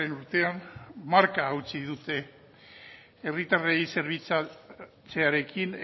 urtean marka hautsi dute herritarrei zerbitzatzearekin